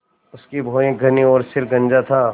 उसकी भौहें घनी और सिर गंजा था